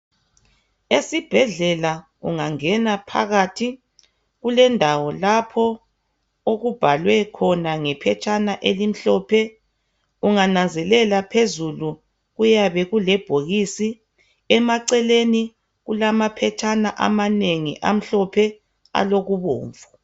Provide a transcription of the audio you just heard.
Esibhedlela ungangena phakathi kulendawo lapho okubhalwe khona ngephetshana elimhlophe. Ungananzelela phezulu kuyabe kulebhokisi. Emaceleni kulamaphetshana amanengi amhlophe. Alokubomvu.